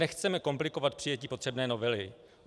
Nechceme komplikovat přijetí potřebné novely.